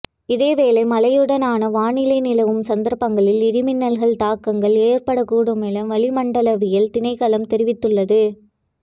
இதேவேளை மழையுடனான வானிலை நிலவும் சந்தர்ப்பங்களில் இடி மின்னல் தாக்கங்கள் ஏற்படக்கூடும் என வளிமண்டலவியல் திணைக்களம் தெரிவித்துள்ளது